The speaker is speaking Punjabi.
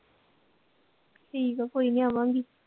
ਠੀਕ ਆ ਕੋਈ ਨੀ ਆਵਾਂਗੀ